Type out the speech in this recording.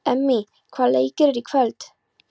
Emmý, hvaða leikir eru í kvöld?